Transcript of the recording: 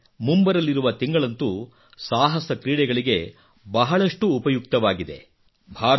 ಹಾಗೆಯೇ ಮುಂಬರಲಿರುವ ತಿಂಗಳಂತೂ ಸಾಹಸಕ್ರೀಡೆಗಳಿಗೆ ಬಹಳಷ್ಟು ಉಪಯುಕ್ತವಾಗಿದೆ